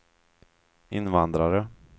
invandrare